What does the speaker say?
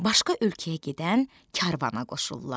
Başqa ölkəyə gedən karvana qoşurlar.